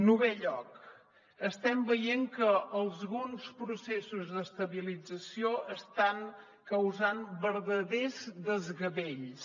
novè lloc estem veient que alguns processos d’estabilització estan causant verdaders desgavells